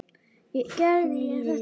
Gerði ég þér bylt við?